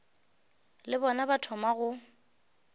le bona ba thoma go